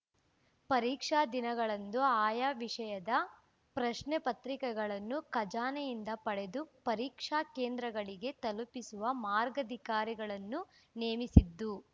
ಪರೀಕ್ಷಾ ದಿನಗಳಂದು ಆಯಾ ವಿಷಯದ ಪ್ರಶ್ನೆಪತ್ರಿಕೆಗಳನ್ನು ಖಜಾನೆಯಿಂದ ಪಡೆದು ಪರೀಕ್ಷಾ ಕೇಂದ್ರಗಳಿಗೆ ತಲುಪಿಸಲು ಮಾರ್ಗಾಧಿಕಾರಿಗಳನ್ನು ನೇಮಿಸಿದ್ದು